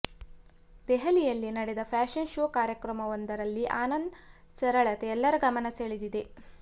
ದೆಹಲಿಯಲ್ಲಿ ನಡೆದ fashion show ಕಾರ್ಯಕ್ರಮವೊಂದರಲ್ಲಿ ಆನಂದ್ ಸರಳತೆ ಎಲ್ಲರ ಗಮನ ಸೆಳೆದಿದೆ